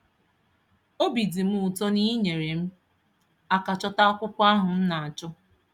Obi dị m ụtọ na ị nyeere m aka chọta akwụkwọ ahụ m na-achọ.